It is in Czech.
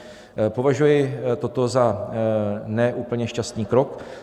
Považuji toto za ne úplně šťastný krok.